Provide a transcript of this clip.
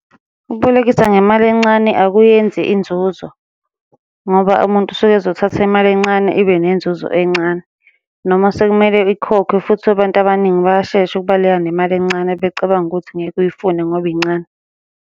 Ukubolekisa ngemali encane akuyenzi inzuzo, ngoba umuntu usuke ezothatha imali encane ibe nenzuzo encane, noma sekumele ikhokhwe futhi abantu abaningi bayashesha ukubaleka nemali encane becabange ukuthi ngeke uyifune ngoba incane.